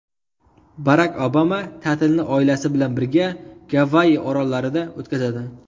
Barak Obama ta’tilni oilasi bilan birga Gavayi orollarida o‘tkazadi.